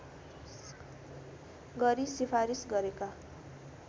गरी सिफारिस गरेका